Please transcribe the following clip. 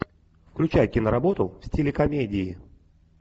включай киноработу в стиле комедии